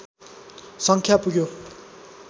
सङ्ख्या पुग्यो